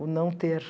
O não ter.